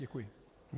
Děkuji.